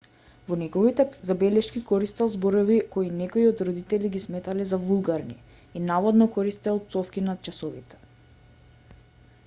во неговите забелешки користел зборови кои некои родители ги сметале за вулгарни и наводно користел пцовки на часовите